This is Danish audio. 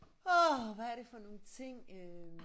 Åh hvad er det for nogle ting øh